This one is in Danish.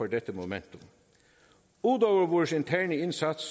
dette momentum ud over vores interne indsats